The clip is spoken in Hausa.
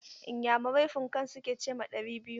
Inyamurai "Púnǹkan" su ke ce ma ɗari biyu.